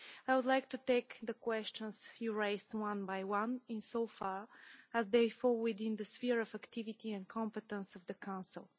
I would like to take the questions you raised one by one, insofar as they fall within the sphere of activity and competence of the Council.